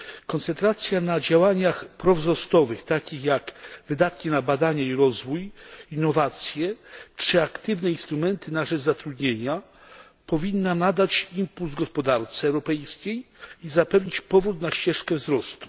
Koncentracja na działaniach prowzrostowych, takich jak wydatki na badania i rozwój, innowacje czy aktywne instrumenty na rzecz zatrudnienia, powinna nadać impuls gospodarce europejskiej i zapewnić powrót na ścieżkę wzrostu.